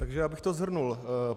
Takže já bych to shrnul.